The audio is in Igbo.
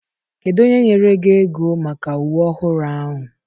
Kedu onye nyere gị ego maka uwe ọhụrụ ahụ?